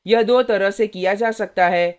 यह दो तरह से किया जा सकता है: